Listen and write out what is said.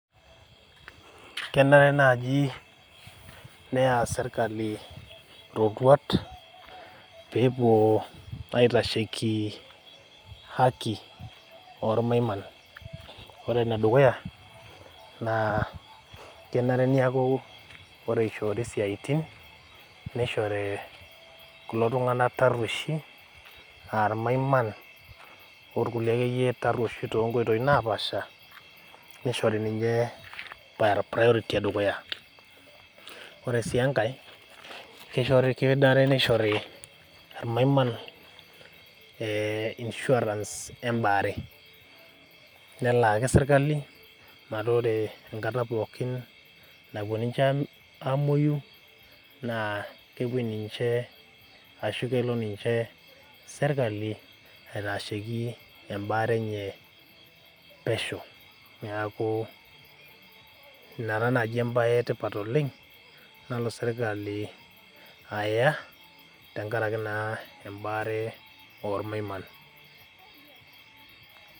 Kenare naaji neya serkali roruat pee epuo aitasheki haki ormaiman ,ore ene dukuya kenare naa ore eishoori siaitin neishori kulo tunganak tarwoisho aa ormaiman orkulie akeyie tarwoisho toonkoitoi naapasha nishori ninche priority edukuya ,ore sii enkae kenare nishori ormaiman insurance embaare nelaaki sirkali metaa ore enkata pookin nomwoyu niche naa kelo serkali aitasheki embaare enye pesho, neeku ina taa naaji embae etipat oleng nalo serkali aya tenakaraki naa embaare ormaiman.